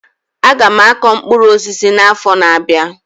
Aga m akọ mkpụrụ osisi na-afo n'abia.